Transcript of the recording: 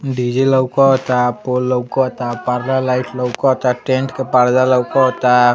DJ लउका ता pole लउका ता पर्दा लाइट लउकता टेंट का पर्दा लउकता।